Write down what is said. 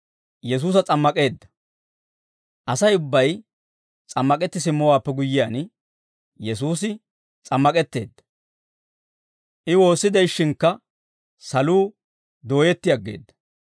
Asay ubbay s'ammak'etti simmowaappe guyyiyaan Yesuusi s'ammak'etteedda. I woossi de'ishshinkka saluu dooyetti aggeedda.